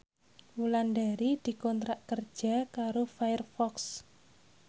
Wulandari dikontrak kerja karo Firefox